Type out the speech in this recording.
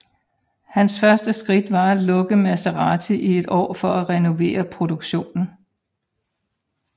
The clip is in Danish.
Hans første skridt var at lukke Maserati i et år for at renovere produktionen